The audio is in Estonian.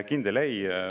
Kindel ei!